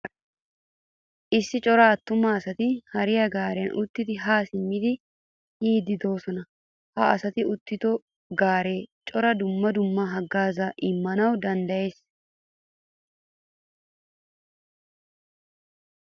Issi cora attuma asati haariyaa gaariyan uttidi ha simmidi yiidi deosona. Ha asati uttido gaare cora dumma dumma haggaaza immanawu danddayees.